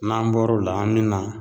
N'an bɔr'o la, an bɛ na.